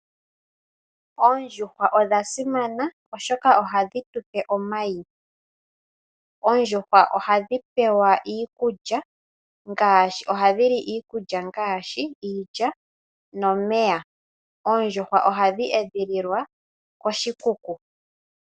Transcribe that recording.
Oondjuhwa odhasimana oshoka ohadhi tupe omayi. Oondjuhwa ohadhi pewa iikulya, ohadhi li iikulya ngaashi iilya nomeya . Oondjuhwa ohadhi edhililwa koshikuku.